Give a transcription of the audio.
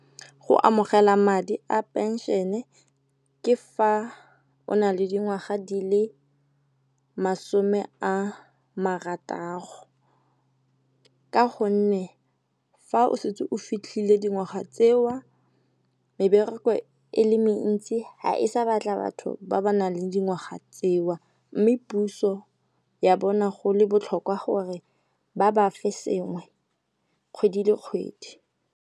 Go amogela madi a pension-e ke fa o na le dingwaga di le masome a marataro. Ka gonne fa o setse o fitlhile dingwaga tseo mebereko e le mentsi ha e sa batla batho ba ba nang le dingwaga tseo, mme puso ya bona go le botlhokwa gore ba ba fe sengwe kgwedi le kgwedi.